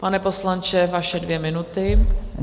Pane poslanče, vaše dvě minuty.